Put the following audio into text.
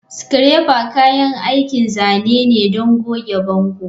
Scraper kayan aikin zane ne don goge bango.